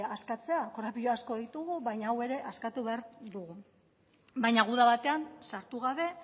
askatzea korapilo asko ditugu baina hau ere askatu behar dugu baina guda batean sartu gabe